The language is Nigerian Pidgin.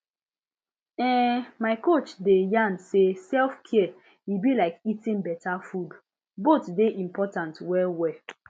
ehn my coach dey yarn say selfcare e be like eating beta food both dey important well well